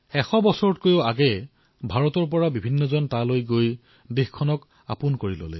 এশ বছৰতকৈও অধিক সময় পূৰ্বে ভাৰতৰ লোক তালৈ গৈছিল আৰু তাতেই নিজৰ বসতি স্থাপন কৰিছিল